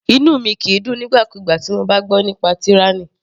Inú mi kìí dùn nígbà kúgbà tí mo bá gbọ́ nípa tyranny.